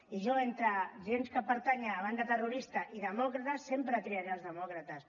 i jo entre gent que pertany a una banda terrorista i demòcrates sempre triaré els demòcrates